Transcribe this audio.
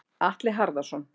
Atli Harðarson.